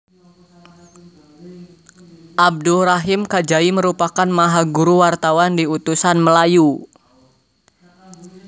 Abdul Rahim Kajai merupakan mahaguru wartawan di Utusan Melayu